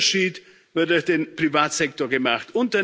Der Unterschied wird durch den Privatsektor gemacht.